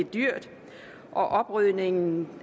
dyrt og oprydningen